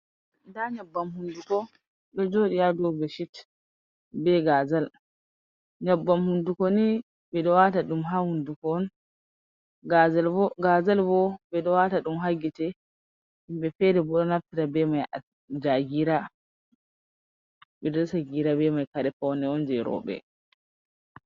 Nda nyebbam hunduko do jodi hado beshit. bei gazal .nyebbam hunduko ni bi do wata dum ha hunduko on gazal bo be do wata dum ha gite himbe fere bo do nafita ja gira bei mai kuje paune on je robe.